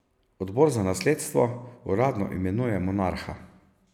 Odbor za nasledstvo uradno imenuje monarha.